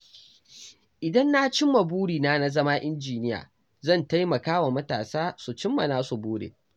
Idan na cimma burina na zama injiniya, zan taimaka wa matasa su cimma nasu burin.